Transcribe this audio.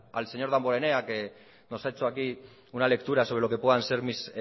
al señor damborenea que nos ha hecho aquí una lectura sobre lo que puedan ser mis